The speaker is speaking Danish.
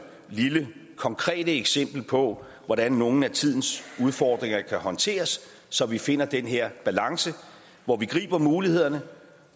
lille konkrete eksempel på hvordan nogle af tidens udfordringer kan håndteres så vi finder den her balance hvor vi griber mulighederne